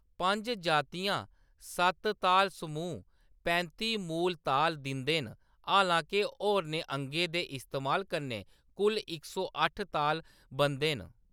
पंज जातियां- सत्त ताल समूह् पैंती मूल ताल दिंदे न, हालां-के होरनें अंगें दे इस्तेमाल कन्नै कुल इक सौ अट्ठ ताल बनदे न।